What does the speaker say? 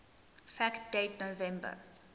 fact date november